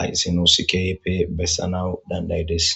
aysinosikyp bessanawu dandaydes.